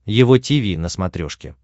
его тиви на смотрешке